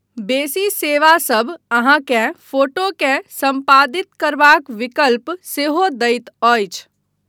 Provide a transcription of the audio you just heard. बेसी सेवासभ अहाँकेँ फोटोकेँ सम्पादित करबाक विकल्प सेहो दैत अछि।